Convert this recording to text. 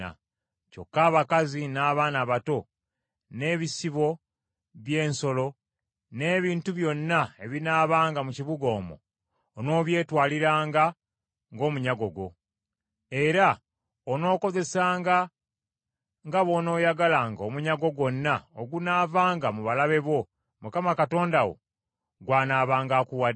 Kyokka abakazi n’abaana abato, n’ebisibo by’ensolo, n’ebintu byonna ebinaabanga mu kibuga omwo, onoobyetwaliranga ng’omunyago gwo. Era onookozesanga nga bw’onooyagalanga omunyago gwonna ogunaavanga mu balabe bo Mukama Katonda wo gw’anaabanga akuwadde.